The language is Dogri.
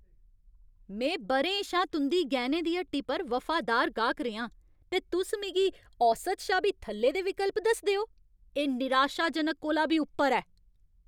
में ब'रें शा तुं'दी गैह्‌नें दी हट्टी दा वफादार गाह्क रेहा आं, ते तुस मिगी औसत शा बी थल्ले दे विकल्प दसदे ओ? एह् निराशाजनक कोला बी उप्पर ऐ।